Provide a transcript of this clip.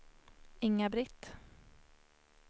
Inga-Britt